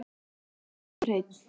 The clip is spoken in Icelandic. Hann elsku Hreinn.